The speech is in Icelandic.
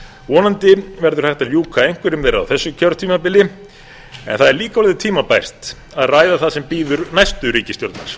vonandi verður hægt að ljúka einhverjum þeirra á þessu kjörtímabili en það er líka orðið tímabært að ræða það sem bíður næstu ríkisstjórnar